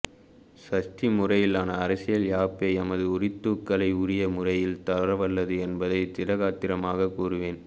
சமஸ்டி முறையிலான அரசியல் யாப்பே எமது உரித்துக்களை உரிய முறையில் தரவல்லது என்பதை திடகாத்திரமாக கூறுவேன்